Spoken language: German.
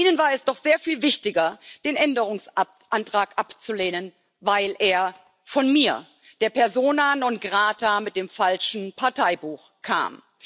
Ihnen war es doch sehr viel wichtiger, den Änderungsantrag abzulehnen, weil er von mir der Persona non grata mit dem falschen Parteibuch kam.